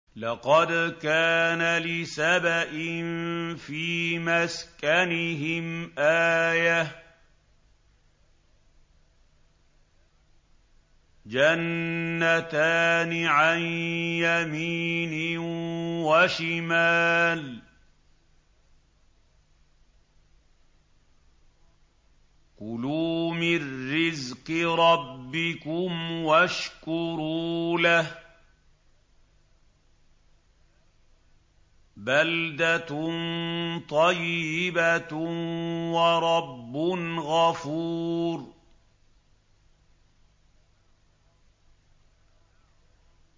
لَقَدْ كَانَ لِسَبَإٍ فِي مَسْكَنِهِمْ آيَةٌ ۖ جَنَّتَانِ عَن يَمِينٍ وَشِمَالٍ ۖ كُلُوا مِن رِّزْقِ رَبِّكُمْ وَاشْكُرُوا لَهُ ۚ بَلْدَةٌ طَيِّبَةٌ وَرَبٌّ غَفُورٌ